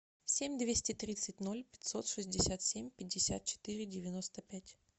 семь двести тридцать ноль пятьсот шестьдесят семь пятьдесят четыре девяносто пять